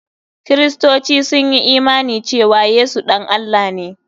Kiristoci sun yi imani cewa Yesu ɗan Allah ne.